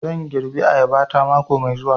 Zan girbi ayaba ta mako mai zuwa